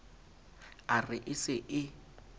a re e se e